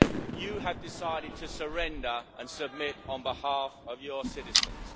You have decided to surrender and submit on behalf of your citizens.